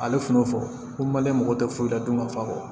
Ale tun y'o fɔ ko male mako tɛ foyi la don ma fa kɔ